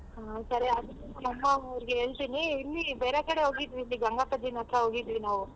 ಹಾ ಸರಿ ಹಾಗಿದ್ರೆ ನಮ್ಮ್ ಅಮ್ಮ ಅವ್ರ್ಗೆ ಹೇಳ್ತಿನಿ ಇಲ್ಲಿ ಬೇರೆ ಕಡೆ ಹೋಗಿದ್ವಿ ಇಲ್ಲಿ ಗಂಗಾ ಅತ್ರ ಹೋಗಿದ್ವಿ ನಾವು.